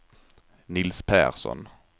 Nils Persson